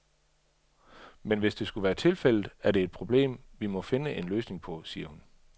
Men hvis det skulle være tilfældet, er det et problem, vi må finde en løsning på, siger hun.